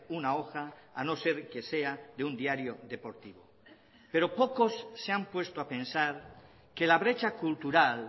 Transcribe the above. una hoja a no ser que sea de un diario deportivo pero pocos se han puesto a pensar que la brecha cultural